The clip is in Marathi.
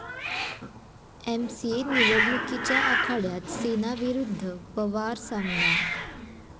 एमसीए निवडणुकीच्या आखाड्यात सेना विरुद्ध पवार सामना